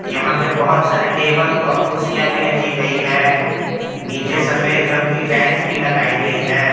यहां पे बहुत सारे टेबल और कुर्सियां भी रखी गई है नीचे सफेद रंग की टाइल्स भी लगाई गई है।